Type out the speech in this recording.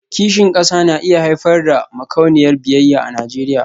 Kishin kasa na iya haifar da makauniyar biyayya a Najeriya